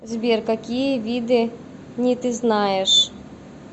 сбер какие виды ни ты знаешь